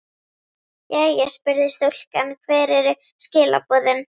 Jæja spurði stúlkan, hver eru skilaboðin?